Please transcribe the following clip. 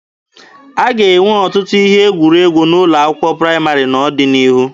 A ga-enwe ọtụtụ ihe egwuregwu n'ụlọ akwụkwọ praịmarị n'ọdịnihu